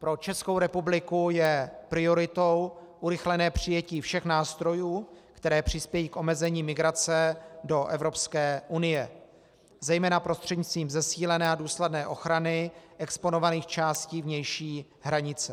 Pro Českou republiku je prioritou urychlené přijetí všech nástrojů, které přispějí k omezení migrace do Evropské unie zejména prostřednictvím zesílené a důsledné ochrany exponovaných částí vnější hranice.